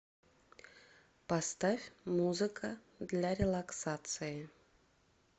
поставь музыка для релаксации